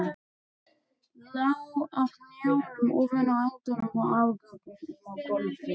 Lá á hnjánum ofan á endum og afgöngum á gólfinu.